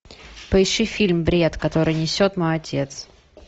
поищи фильм бред который несет мой отец